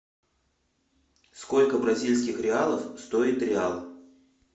сколько бразильских реалов стоит реал